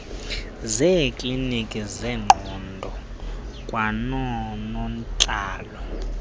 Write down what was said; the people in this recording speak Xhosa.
zeeklinikhi zengqondo kwanoonontlalo